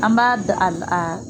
An b'a da a la